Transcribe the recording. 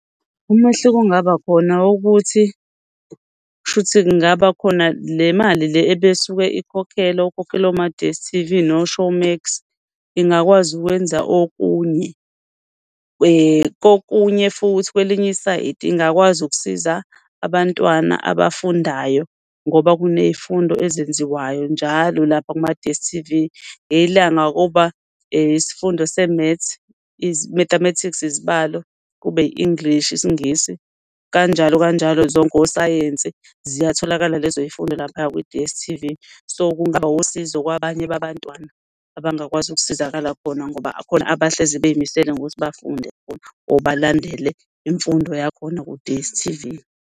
Umehluko okungabakhona ukuthi kushukuthi kungabakhona le mali, le ebesuke ikhokhelwa ukhokhela oma-D_S_T_V no-Showmax ingakwazi ukwenza okunye. Kokunye futhi kwelinye isayidi ingakwazi ukusiza abantwana abafundayo ngoba kuney'fundo ezenziwayo njalo lapha kuma-D_S_T_V ngelinye ilanga kuba isifundo se-Maths i-Mathematics, izibalo kube English, isiNgisi kanjalo kanjalo zonke oSayensi ziyatholakala lezo y'fundo laphaya ku-D_S_T_V. So, kungawusizo kwabanye babantwana abangakwazi ukusizakala khona ngoba khona abahlezi beyimisele ukuthi bafunde or balandele imfundo yakhona ku-D_S_T_V.